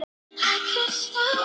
Þetta gerir þær krumpaðar.